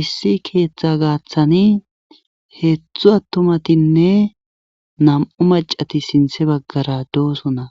Issi keeththa gaaththani heetzthu attomatinne nam'u macati sinthe baggara dooso na